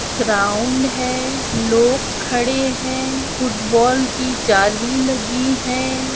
Ground है लोग खड़े है फुटबॉल की जाली लगी है।